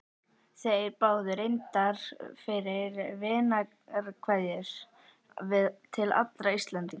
Þeir báðu reyndar fyrir vinarkveðjur til allra Íslendinga.